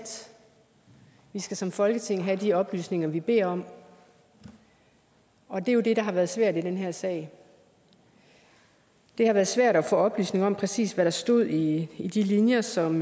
vi skal som folketing have de oplysninger vi beder om og det er jo det der har været svært i den her sag det har været svært at få oplysning om præcis hvad der stod i i de linjer som